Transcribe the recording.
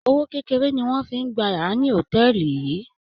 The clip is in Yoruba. Owó kékeré ni wọ́n fi ń gba yàrá ní hòtẹ́ẹ̀lì yìí.